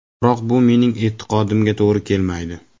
Biroq bu mening e’tiqodimga to‘g‘ri kelmaydi.